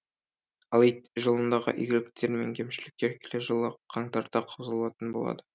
ал ит жылындағы игіліктер мен кемшіліктер келер жылы қаңтарда қаузалатын болады